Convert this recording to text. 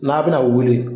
N'a bɛna wuli